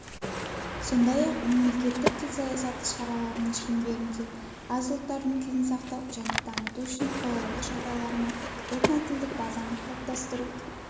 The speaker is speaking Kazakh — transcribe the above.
сондай-ақ мемлекеттік тіл саясаты шараларының шеңберінде аз ұлттардың тілін сақтау және дамыту үшін қолайлы жағдайлар мен этнотілдік базаны қалыптастыру